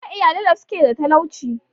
Akwai iyalai da suke da talauci.